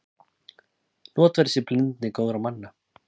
Notfærði mér blindni góðra manna.